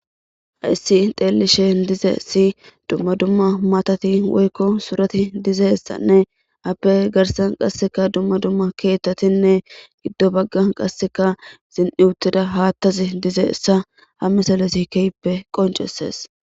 Hayssi xeellishe dize si dumma dumma matati woykko surati dize issanne appe garsan qasseka dumma dumma keettatinne giddo bagga qasseka zin7iutida haattazi dize essa ha misalesikeyppe qoncesees.